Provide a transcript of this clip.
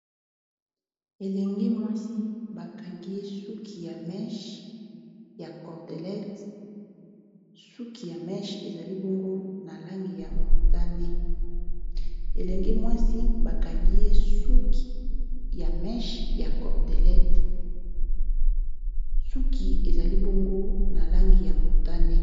Ya cordelete suki ya meshe elenge mwasi bakangi ye suki eali bongo na langi ya motane